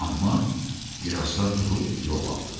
Amma birazdan durub yol aldı.